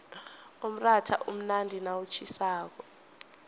umratha umnandi nawutjhisako